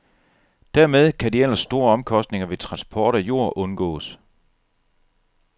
Dermed kan de ellers store omkostninger ved transport af jord undgås.